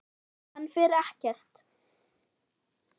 Hann fer ekkert.